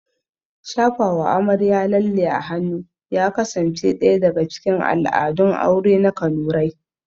Shafawa amarya lalle a hannu ya kasance ɗaya daga cikin al'adun aure na kanurai